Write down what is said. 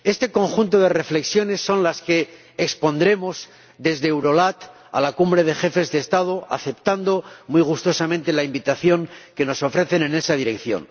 Este conjunto de reflexiones son las que expondremos desde Eurolat a la Cumbre de Jefes de Estado, aceptando muy gustosamente la invitación que nos ofrecen en esa dirección.